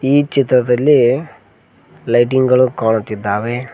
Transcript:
ಈ ಚಿತ್ರದಲ್ಲಿ ಲೈಟಿಂಗ್ ಗಳು ಕಾಣುತ್ತಿದ್ದಾವೆ.